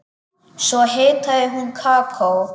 Svo hitaði hún kakó.